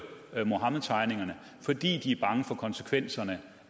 muhammedtegningerne fordi de er bange for konsekvenserne